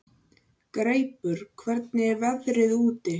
Halldís, slökktu á þessu eftir fjörutíu og tvær mínútur.